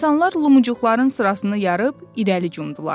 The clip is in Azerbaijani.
İnsanlar lücuqların sırasını yarıb irəli cumdular.